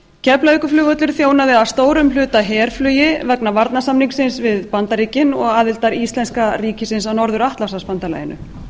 keflavíkurflugvöllur þjónaði að stórum hluta herflugi vegna varnarsamningsins við bandaríkin og aðildar íslenska ríkisins að norður atlantshafsbandalaginu